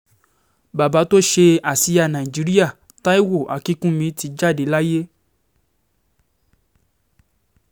bàbá tó ṣe àsíá nàìjíríà taiwo akínkùnmí ti jáde láyé